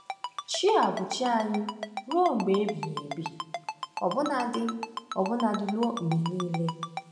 “Chi a bụ chi anyị ruo mgbe ebighị ebi, ọbụnadị ọbụnadị ruo mgbe niile.”